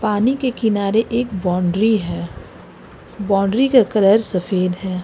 पानी के किनारे एक बाउंड्री है बाउंड्री का कलर सफेद है।